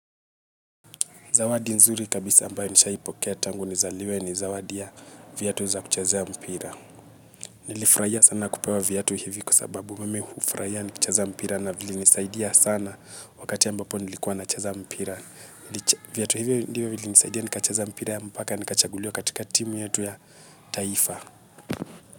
Zawadi nzuri kabisa ambayo nishaipokea tangu nizaliwe ni zawadi ya viatu vya kuchezea mpira. Nilifurahia sana kupewa viatu hivi kwa sababu mimi hufurahia kucheza mpira na vilinisaidia sana wakati ambapo nilikuwa nacheza mpira. Viatu hivi ndivyo vilivyonisaidia nikachezea mpira mpaka nikachaguliwa katika timu yetu ya taifa.